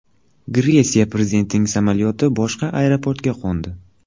Gretsiya prezidentining samolyoti boshqa aeroportga qo‘ndi.